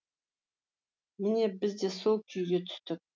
міне бізде сол күйге түстік